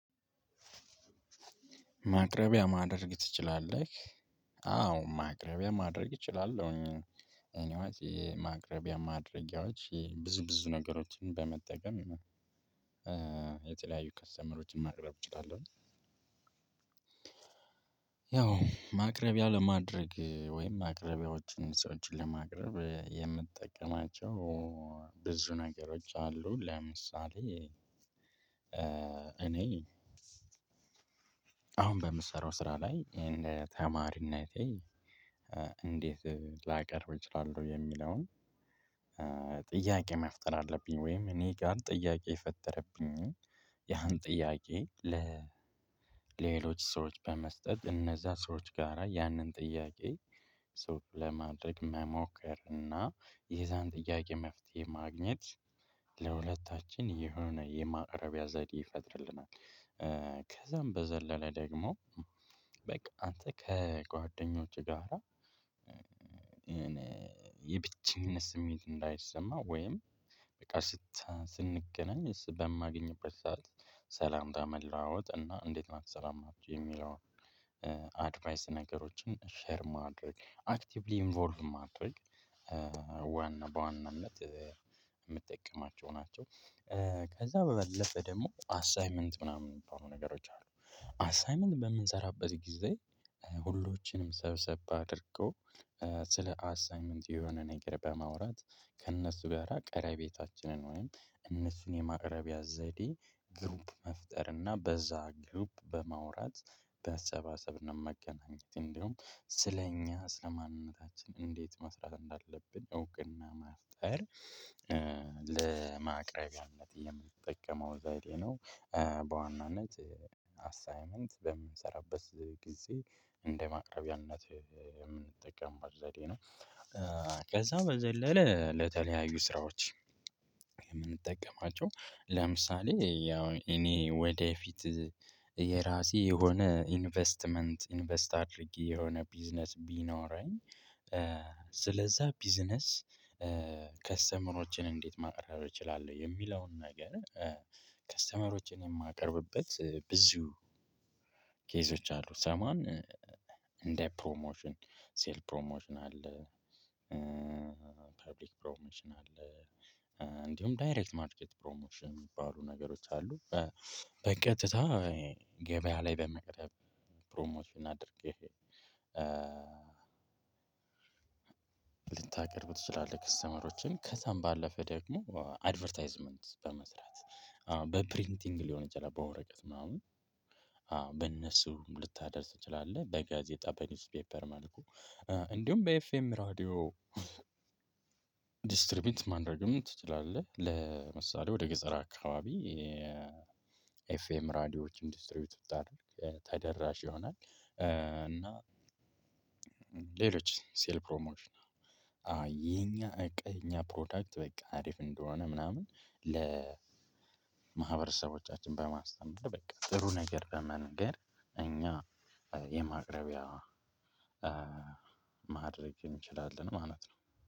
ማቅረቢያ ማድረግ ትችላለህ? አዎ ማቅረቢያ ማድረግ እችላለሁኝ እኔ ዋይ የማቅረቢያ ማድረጊያዎች ብዙ ብዙ ነገሮችን በመጠቀም የተለያዩ ከስተመሮችን ማቅረብ እችላለሁ። ያው ማቅረቢያ ለማድረግ ወይም ማቅረቢያወችን ስወችን ለማቅረብ የምጠቀማቸው ብዙ ነገሮች አሉ። ለምሳሌ እኔ አሁን በምሰራው ስራ ላይ እንደ ተማሪነቴ እንዴት ላቀርብ እችላለሁ? የሚለውን ጥያቄ መፍጠር አለብኝ። ወይም እኔ ጋር ጥያቄ የፈጠረብኝን ያን ጥያቄ ለሌሎች ሰዎች በመስጠት እነዛ ሰዎች ጋራ ያንን ጥያቄ ሰው ለማድረግ መሞከር እና የዛን ጥያቄ መፍትሄ ማግኘት። ለሁለታችን የሆነ የማቅረቢያ ዘዴ ይፈጥርልናል። ከዛም በዘለለ ደግሞ በቃ አንተ ከጓደኞች ጋራ የብቸኝነት ስሜት እንዳይሰማህ ወይም በቃ ስንገናኝ በማግኝበት ሰዓት ሰላምታ መለዋወጥ እና እንዴት ናችሁ ሰላም ናቸሁ የሚለውን አድቫይስ ነገሮችን ሼር ማድረግ አክቲቭሊይ ኢንቮልቭ ማድረግ። ዋና በዋናነት የምጠቀማቸው ናቸው። ከዛ በበለጠ ደግሞ አሳይመንት ምናምን የሚባሉ ነገሮች አሉ። አሳይመንት በምሰራበት ጊዜ ሁሎችንም ሰብሰብ አድርጎ ስለ አሳይመንት የሆነ ነገር በማውራት ከእነሱ በራ ቀረቤታችንን ወይም እነሱን የማቅረቢያ ዘዴ ግሩፕ መፍጠር እና በዛ ግሩፕ በማውራት በመሰባሰብ መገናኘት እንደውም ስለኛ ስለማንነታችን እንዴት መስራት እንዳለብን እውቅና መፍጠር። ለማቅረቢያነት የምጠቀመው ዘዴ ነው። በዋናነት አሳይመንት በምንሰራበት ጊዜ እንደ ማቅረቢያነት የምንጠቀምበት ዘዴ ነው። ከዛ በዘለለ ለተለያዩ ስራዎች የምንጠቀማቸው ለምሳሌ ያው እኔ ወደፊት የራሴ የሆነ ኢንቨስትመንት ኢንቨስት አድርጌ የሆነ ቢዝነስ ቢኖረኝ። ስለዛ ቢዝነስ ከስተመሮችን እንዴት ማቅረብ እችላለሁ የሚለውን ነገር? ከስተመሮችን የማቀርብበት ብዙ ኬዞች አሉ። ሰምዋን እንደ ፕሮሞሽን ሴል ፕሮሞሽን አለ። ፐብሊክ ፕሮሞሽን አለ። እንዲሁም ዳይሬክት ማርኬት ፕሮሞሽን የሚባሉ ነገሮች አሉ። በቀጥታ ገበያ ላይ በመቅረብ ፕሮሞሽን አድርገህ ልንታቀርብ ትችላለህ። ከስተመሮችን ከዛም ባለፈ ደግሞ አድቨርታይዝመንት በመስራት በፕሪንቲንግ ሊሆን ይችላል። በወረቀት ምናምን አወ በእነሱም ልታደርስ ትችላለህ። በጋዜጣ በኒውስ ፔፐር መልኩ እንዲሁም በኤፍኤም ራዲዮ ዲስትሪቢት ማድረግም ትችላለህ። ለምሳሌ ወደ ገጸር አካባቢ የኤፍኤም ራዲዮች ኢንዱስትሪወች ተደራሽ ይሆናል። እና ሌሎች ሴል ፕሮሞሽን አሃ የኛ እቃ ፕሮዳክት በቃ አሪፍ እንደሆነ ምናምን ለማህበረሰቦቻችን በማስተማር በቃ ጥሩ ነገር በመንገር እኛ የማቅረቢያ ማድረግ እንችላለን ማለት ነው